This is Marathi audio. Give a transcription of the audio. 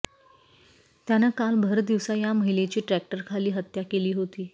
त्यानं काल भरदिवसा या महिलेची ट्रॅक्टरखाली हत्या केली होती